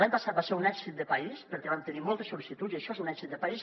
l’any passat va ser un èxit de país perquè vam tenir moltes sol·licituds i això és un èxit de país